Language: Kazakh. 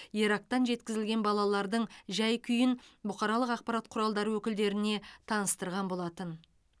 ирактан жеткізілген балалардың жай күйін бұқаралық ақпарат құралдары өкілдеріне таныстырған болатын